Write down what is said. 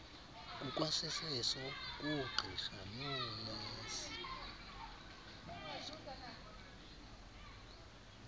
kukwaseso koogqirha noonesi